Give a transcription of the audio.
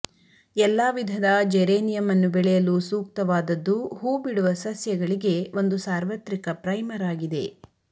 ಎಲ್ಲಾ ವಿಧದ ಜೆರೇನಿಯಂ ಅನ್ನು ಬೆಳೆಯಲು ಸೂಕ್ತವಾದದ್ದು ಹೂಬಿಡುವ ಸಸ್ಯಗಳಿಗೆ ಒಂದು ಸಾರ್ವತ್ರಿಕ ಪ್ರೈಮರ್ ಆಗಿದೆ